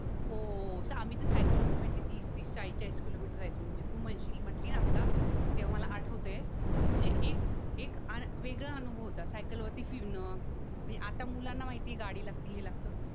हो सायकल होती माहितीय तीस तीस चाळीस चाळीस किलोमीटर जायचं म्हणजे तू म्हणशील म्हणतली ना आता ते मला आठवतंय म्हणजे एक एक वेगळा अनुभव होता सायकल वरती फिरणं आता मुलांना माहिती आहे गाडी लागते हे लागत